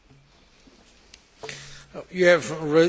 You have raised many questions.